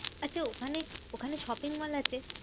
আচ্ছা ওখানে ওখানে shopping mall আছে?